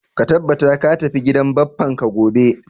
Ka tabbata ka tafi gidan bappan ka gobe